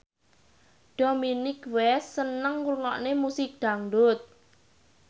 Dominic West seneng ngrungokne musik dangdut